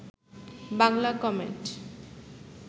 Bangla comment